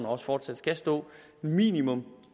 og også fortsat skal stå at minimum